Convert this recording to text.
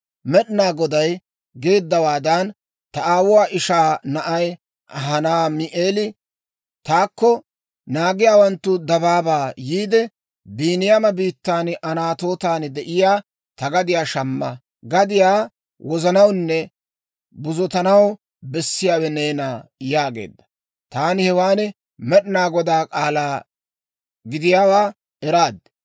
«Med'inaa Goday geeddawaadan, ta aawuwaa ishaa na'ay Hanaami'eeli taakko naagiyaawanttu dabaabaa yiide, ‹Biiniyaama biittan Anatootan de'iyaa ta gadiyaa shamma; gadiyaa wozanawunne buzotanaw bessiyaawe neena› yaageedda. Taani hewan Med'inaa Godaa k'aalaa gidiyaawaa eraad.